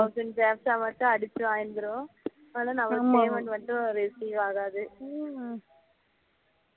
Thousand captcha ஆ மட்டும் அடிச்சி வாங்கிரும் ஆனா நம்ம payment மட்டும் receive ஆகாது